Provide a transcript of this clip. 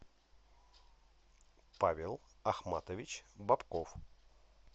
павел ахматович бобков